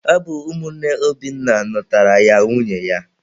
Ọ bụ ụmụnne Obinna nụtaara ya nwunye ya.